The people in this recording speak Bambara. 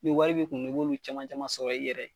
Ni wari b'i kun , i b'olu caman caman sɔrɔ i yɛrɛ ye.